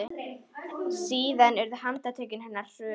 Síðan urðu handtök hennar hröð.